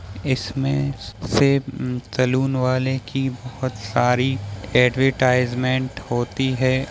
इसमें same salon वाले की बहोत सारी एडवेटाईजमेंट होती है।